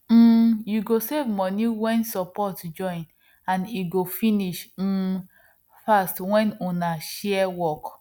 um you go save money wen support join and e go finish um fast when una share work